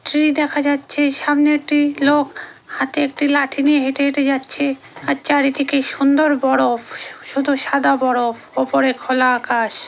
Tree দেখা যাচ্ছে সামনে একটি লোক হাতে একটি লাঠি নিয়ে হেঁটে হেঁটে যাচ্ছে। আর চারিদিকে সুন্দর বরফ শুধু সাদা বরফ ওপরে খোলা আকাশ ।